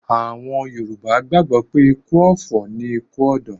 Àwọn Yorùbá gbàgbó pé ikú ọ̀fọ̀ ni ikú ọ̀dọ́